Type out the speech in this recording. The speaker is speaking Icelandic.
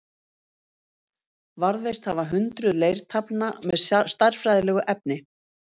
Varðveist hafa hundruð leirtaflna með stærðfræðilegu efni.